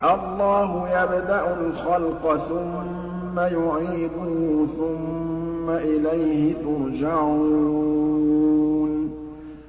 اللَّهُ يَبْدَأُ الْخَلْقَ ثُمَّ يُعِيدُهُ ثُمَّ إِلَيْهِ تُرْجَعُونَ